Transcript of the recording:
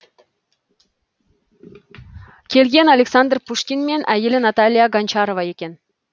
келген александр пушкин мен әйелі наталья гончарова екен